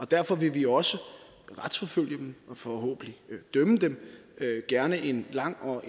derfor vil vi også retsforfølge dem og forhåbentlig dømme dem gerne en lang og